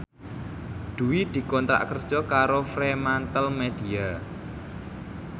Dwi dikontrak kerja karo Fremantlemedia